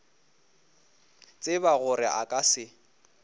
tseba gore a ka se